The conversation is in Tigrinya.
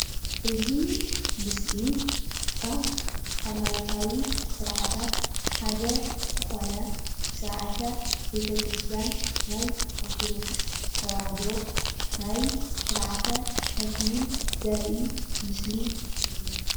እዚ ምስሊ ካብ ሃይማኖታዊ ዝኮነ ስርዓታት ዝኮነ ቤተ-ክርስትያን ናይ ኦርቶዶክስ ተዋህዶ ናይ ስርዓተ ተክሊል ዘርኢ ምስሊ እዩ፡፡